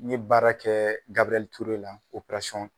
N ye baara kɛ Gaburɛli Ture la